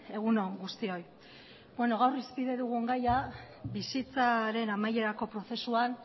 egun on guztioi gaur irizpide dugun gaia bizitzaren amaierako prozesuan